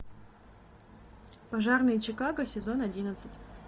пожарные чикаго сезон одиннадцать